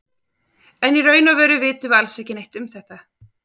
En í raun og veru vitum við alls ekki neitt um þetta.